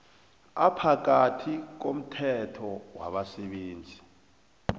ophakathi komthelo wabasebenzi